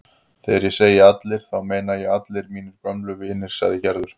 Þegar ég segi allir þá meina ég allir mínir gömlu vinir sagði Gerður.